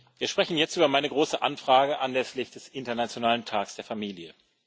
Wir sprechen jetzt über meine große Anfrage anlässlich des Internationalen Tags der Familie.